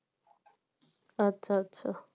আচ্ছা আচ্ছা